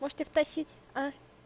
может тебе втащить а